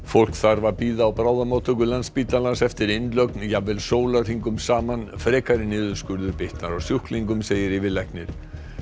fólk þarf að bíða á bráðamóttöku Landspítalans eftir innlögn jafnvel sólarhringum saman frekari niðurskurður bitnar á sjúklingum segir yfirlæknir